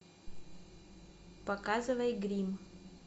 показывай гримм